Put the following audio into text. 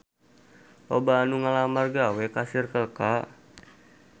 Loba anu ngalamar gawe ka Circle K